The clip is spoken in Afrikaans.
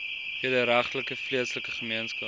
wederregtelike vleeslike gemeenskap